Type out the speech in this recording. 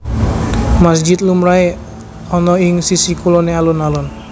Masjid lumrahé ana ing sisih kuloné alun alun